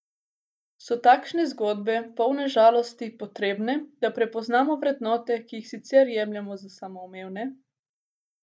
So takšne zgodbe, polne žalosti, potrebne, da prepoznamo vrednote, ki jih sicer jemljemo za samoumevne?